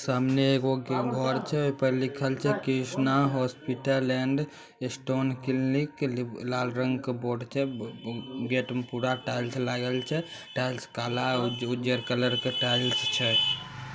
सामने एगो घर छे आ ओ पे लिखल छे Krishna hospital and stone clinic लीव लाल रंग के बोर्ड छे गेट मे पूरा टाइल्स लागल छे टाइल्स काला और उजर कलर के टाइल्स छे।